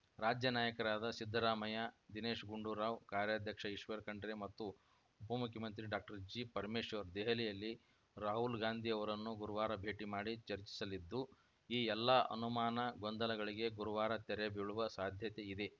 ರಾಜ್ಯ ನಾಯಕರಾದ ಸಿದ್ದರಾಮಯ್ಯ ದಿನೇಶ್‌ ಗುಂಡೂರಾವ್‌ ಕಾರ್ಯಾಧ್ಯಕ್ಷ ಈಶ್ವರ್‌ ಖಂಡ್ರೆ ಮತ್ತು ಉಪ ಮುಖ್ಯಮಂತ್ರಿ ಡಾಕ್ಟರ್ ಜಿಪರಮೇಶ್ವರ್‌ ದೆಹಲಿಯಲ್ಲಿ ರಾಹುಲ್‌ ಗಾಂಧಿ ಅವರನ್ನು ಗುರುವಾರ ಭೇಟಿ ಮಾಡಿ ಚರ್ಚಿಸಲಿದ್ದು ಈ ಎಲ್ಲಾ ಅನುಮಾನ ಗೊಂದಲಗಳಿಗೆ ಗುರುವಾರ ತೆರೆ ಬೀಳುವ ಸಾಧ್ಯತೆಯಿದೆ